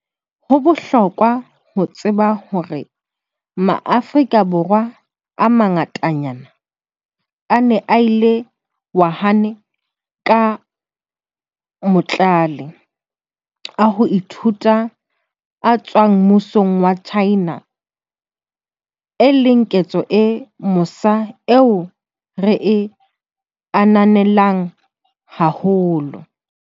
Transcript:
Ho bohlokwa ho tseba hore Maafrika Borwa a mangatanyana a ne a ile Wuhan ka matlole a ho ithuta a tswang mmusong wa China, e leng ketso e mosa eo re e ananelang haholo.